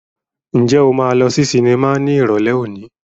Ǹjẹ́ o máa lọ sí sinimá ní Ìrọ̀lẹ́ òní?